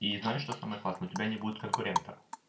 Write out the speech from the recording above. и знаешь что самое классное у тебя не будет конкурентов